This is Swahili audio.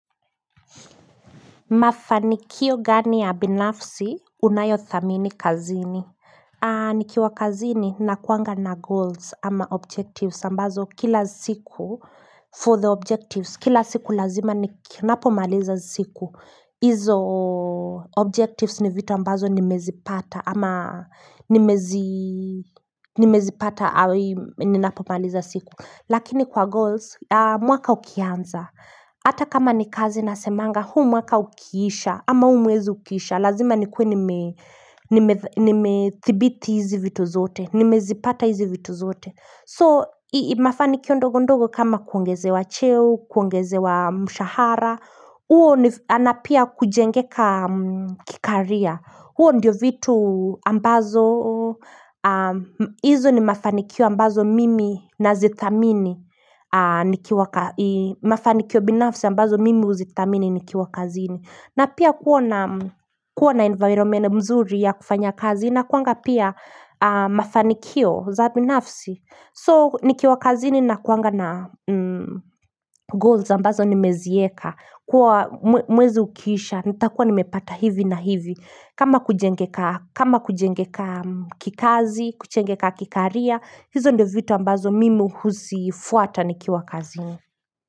Mafanikio gani ya binafsi, unayo thamini kazini. Nikiwa kazini, nakuanga na goals ama objectives, ambazo kila siku for the objectives. Kila siku lazima, ninapomaliza siku. Hizo objectives ni vitu ambazo nimezipata, ama nimezi Nimezipata awi ninapomaliza siku. Lakini kwa goals, mwaka ukianza. Hata kama ni kazi nasemanga, huu mwaka ukiisha, ama huu mwezi ukiisha, lazima nikuwe ni tha nimethibiti hizi vitu zote, nimezipata hizi vitu zote So, mafanikio ndogo ndogo kama kuongeze wa cheo, kuongeze wa mshahara, huo na pia kujengeka ki career huo ndiyo vitu ambazo hizo ni mafanikio ambazo mimi na zithamini nikiwa mafanikio binafsi ambazo mimi huzithamini nikiwa kazini na pia kuwa environment mzuri ya kufanya kazi inakuanga pia mafanikio za binafsi so nikiwa kazini nakuanga na goals ambazo nimezieka kuwa mwezi ukiisha nitakuwa nimepata hivi na hivi kama kujengeka kikazi, kujengeka ki career hizo ndiyo vitu ambazo mimi huzifuata nikiwa kazini.